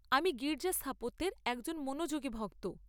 আমি গির্জা স্থাপত্যের একজন মনোযোগী ভক্ত।